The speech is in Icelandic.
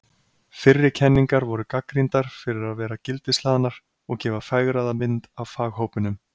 Fyrri kenningar voru gagnrýndar fyrir að vera gildishlaðnar og gefa fegraða mynd af faghópunum.